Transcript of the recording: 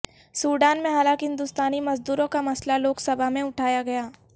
Sudan میں ہلاک ہندوستانی مزدوروں کا مسئلہ لوک سبھا میں اٹھایاگیا